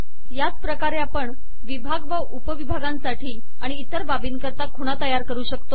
याच प्रकारे आपण विभाग व उपविभागांसाठी आणि इतर बाबींकरता खुणा तयार करू शकतो